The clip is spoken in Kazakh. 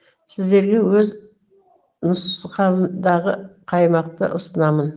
сіздерге өз нұсқамдағы қаймақты ұсынамын